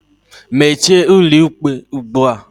Meche ụlọikpe ugbua.